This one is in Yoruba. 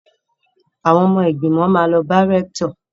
Àwọn ọmọ ìgbìmọ̀ máa lọ bá rẹ́ktọ̀.